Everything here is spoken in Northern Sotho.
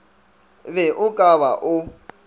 be o ka ba o